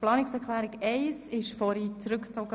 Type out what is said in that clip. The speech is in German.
Die Planungserklärung 1 wurde vorhin zurückgezogen.